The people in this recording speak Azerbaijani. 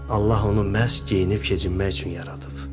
Allah onu məhz geyinib-keçinmək üçün yaradıb.